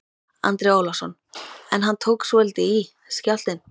Andri Ólafsson: En hann tók svolítið í, skjálftinn?